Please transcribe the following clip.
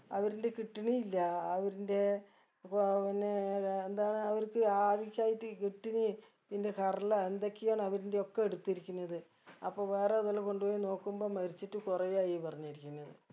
അവരിന്റെ kidney ഇല്ല അവരിന്റെ അഹ് പിന്നെ അഹ് എന്താണ് അവർക്ക് ആവശ്യായിട്ട് kidney പിന്നെ കരളാ എന്തൊക്കെയാണ് അവരിന്റെ ഒക്കെ എടുത്തുരിക്കുന്നത് അപ്പൊ വേറെ ഏതലൊ കൊണ്ട് പോയി നോക്കുമ്പം മരിച്ചിട്ട് കുറേ ആയി പറഞ്ഞിരിക്കുന്ന്